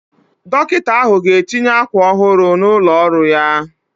Dọkịta ahụ ga-etinye akwa ọhụrụ n'ụlọ ọrụ ya